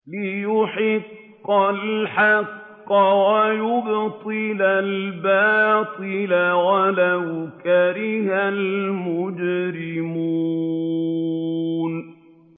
لِيُحِقَّ الْحَقَّ وَيُبْطِلَ الْبَاطِلَ وَلَوْ كَرِهَ الْمُجْرِمُونَ